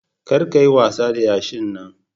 Kar ka yi wasa da yashin Nan.